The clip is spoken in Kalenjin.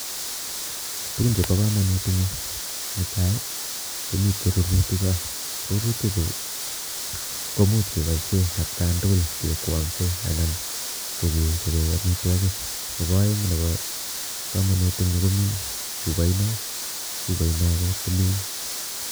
Tugun chebo komonut ing'yu; netai, komite rirutikcho. Rirutik chu komuuch keboisie at kaang'tugul kekwang'se anan kokechobe amitwogik , nebo aeng' nebo komonut ing'yu komi chuboino , chuboino ko tilil